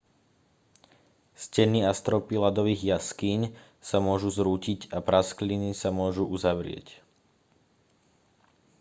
steny a stropy ľadových jaskýň sa môžu zrútiť a praskliny sa môžu uzavrieť